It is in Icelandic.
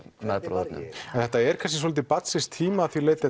meðbræðrunum en þetta er svolítið barns síns tíma að því leyti